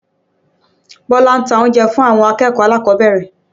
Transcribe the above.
Bọ́lá ló ń ta oúnjẹ fún àwọn akẹ́kọ̀ọ́ alákọ̀ọ́bẹ̀rẹ̀